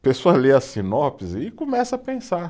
A pessoa lê a sinopse e começa a pensar.